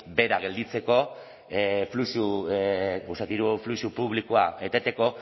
bera gelditzeko diru fluxu publikoa eteteko